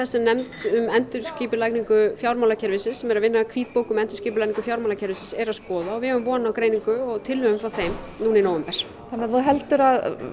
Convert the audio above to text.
sem nefnd um endurskipulagningu fjármálakerfisins sem er að vinna að hvítbók um endurskipulagningu fjármálakerfisins er að skoða og við eigum von á greiningu og tillögum frá þeim núna í nóvember þannig að þú heldur að